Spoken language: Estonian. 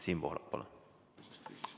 Siim Pohlak, palun!